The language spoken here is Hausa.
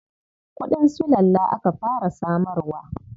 Kuɗin sulalla aka fara samarwa.